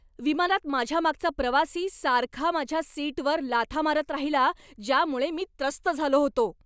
विमानात माझ्यामागचा प्रवासी सारखा माझ्या सीटवर लाथा मारत राहिला ज्यामुळे मी त्रस्त झालो होतो.